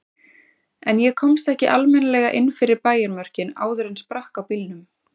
En ég komst ekki almennilega inn fyrir bæjarmörkin áður en sprakk á bílnum.